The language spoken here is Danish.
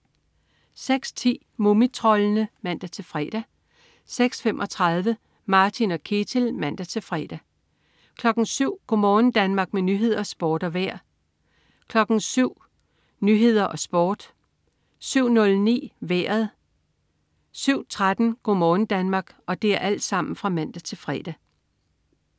06.10 Mumitroldene (man-fre) 06.35 Martin og Ketil (man-fre) 07.00 Go' morgen Danmark med nyheder, sport og vejr (man-fre) 07.00 Nyhederne og Sporten (man-fre) 07.09 Vejret (man-fre) 07.13 Go' morgen Danmark (man-fre)